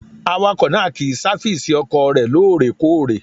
Awakọ̀ náà kì í sáfísì ọkọ̀ rẹ̀ lóòrèkóòrè.